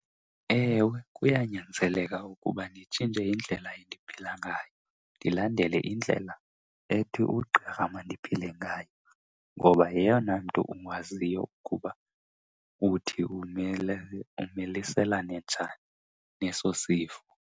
Ewe, kuyanyanzeleka ukuba nditshintshe indlela endiphila ngayo ndilandele indlela ethi ugqirha mandiphile ngayo. Ngoba yeyona mntu ukwaziyo ukuba uthi umele, umiliselane njani neso sifo.